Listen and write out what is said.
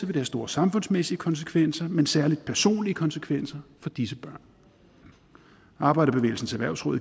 det have store samfundsmæssige konsekvenser men særlig personlige konsekvenser for disse børn arbejderbevægelsens erhvervsråd